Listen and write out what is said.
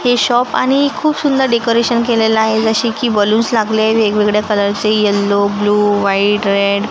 हे शॉप आणि खूप सुंदर डेकोरेशन केलेलं आहे जसे की बलून्स लागले वेगवेगळ्या कलरचे यल्लो ब्लू व्हाईट रेड --